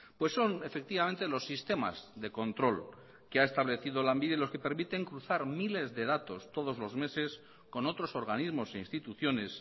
pues son efectivamente los sistemas de control que ha establecido lanbide los que permiten cruzar miles de datos todos los meses con otros organismos e instituciones